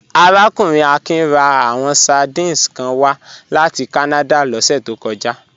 Arákùnrin Akin rán àwọn sardines kan wá láti Kánádà lọ́sẹ̀ tó kọjá